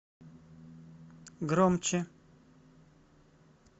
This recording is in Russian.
громче